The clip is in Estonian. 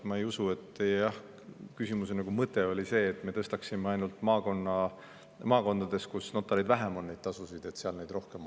Ma ei usu, et teie küsimuse mõte oli see, et me tõstaksime neid tasusid ainult maakondades, kus notareid vähem on, ja siis oleks neid seal rohkem.